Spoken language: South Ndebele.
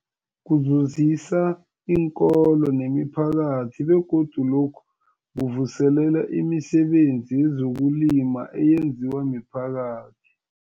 Kuzuzisa iinkolo nemiphakathi begodu lokhu kuvuselela imisebenzi yezokulima eyenziwa miphakathi.